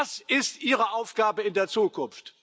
Das ist ihre Aufgabe in der Zukunft.